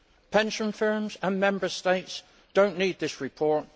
Pension firms and Member States do not need this report